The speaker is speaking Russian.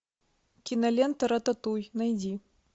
кинолента рататуй найди